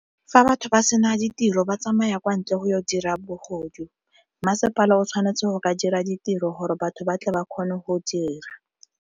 Fa batho ba sena ditiro ba tsamaya kwa ntle go dira bogodu, masepala o tshwanetse go ka dira ditiro gore batho ba tle ba kgone go dira.